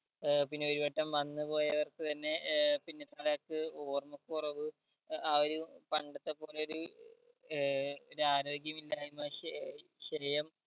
ഏർ പിന്നെ ഒരുവട്ടം വന്ന് പോയവർക്ക് തന്നെ ഏർ പിന്നെ പലർക്കും ഓർമ്മക്കുറവ് ആ ഒരു പണ്ടത്തെ പോലെ ഒര് ഏർ പിന്നെ ആരോഗ്യമില്ലായിമ ശ് ക്ഷയം